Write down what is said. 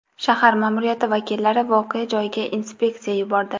Shahar ma’muriyati vakillari voqea joyiga inspeksiya yubordi.